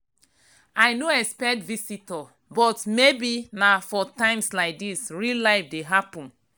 i no expect visitor but maybe na for times like this real life dey happen.